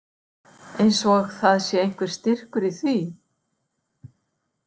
Eins og það sé einhver styrkur í því.